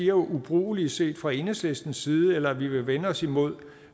er ubrugelige set fra enhedslistens side eller at vi vil vende os imod